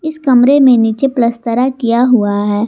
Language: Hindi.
इस कमरे में नीचे प्लसतरा किया हुआ है।